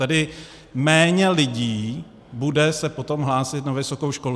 Tedy méně lidí bude se potom hlásit na vysokou školu.